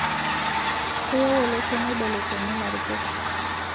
Keyieu olosho neibelekenyi larikok